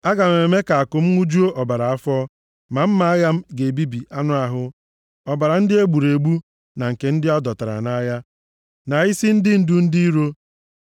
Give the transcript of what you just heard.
Aga m eme ka àkụ m ṅụjuo ọbara afọ, ma mma agha ga-ebibi anụ ahụ, ọbara ndị e gburu egbu, na nke ndị a dọtara nʼagha, na isi ndị ndu ndị iro.”